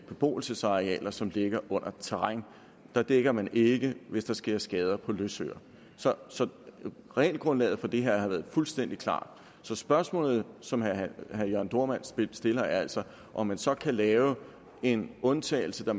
beboelsesarealer som ligger under terræn der dækker man ikke hvis der sker skader på løsøre så regelgrundlaget for det her har været fuldstændig klart så spørgsmålet som herre jørn dohrmann stiller er altså om man så kan lave en undtagelse der